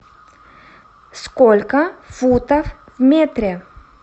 сколько футов в метре